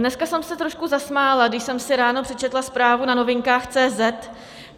Dneska jsem se trošku zasmála, když jsem si ráno přečetla zprávu na Novinkách.